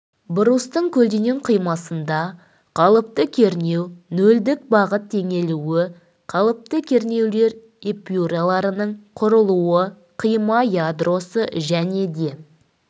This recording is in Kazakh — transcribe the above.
брустың көлденең қимасында қалыпты кернеу нөлдік бағыт теңелуі қалыпты кернеулер эпюраларының құрылуы қима ядросы және де